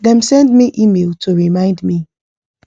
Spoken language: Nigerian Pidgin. dem send me email to remind me